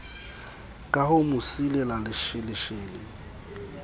ka ho mo silela lesheleshele